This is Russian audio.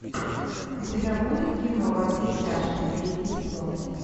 у тебя будет кино во все тяжкие третий сезон